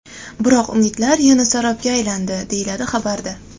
Biroq, umidlar yana sarobga aylandi”, deyiladi xabarda.